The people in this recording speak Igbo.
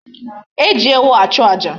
E ji ewu achu aja.